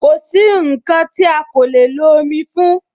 Kosi nkan ti a ko le lo omi fún